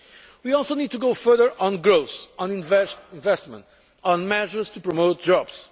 We also need to go further on growth, on investment, and on measures to promote